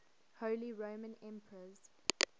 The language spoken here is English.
holy roman emperors